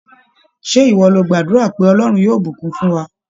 Ṣé ìwọ lo gbàdúrà pé "Ọlọ́run yóò bùkún fún wa?